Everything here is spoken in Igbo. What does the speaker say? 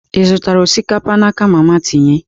Ị zụtara osikapa n'aka mama tinye?